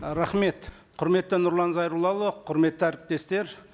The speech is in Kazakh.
і рахмет құрметті нұрлан зайроллаұлы құрметті әріптестер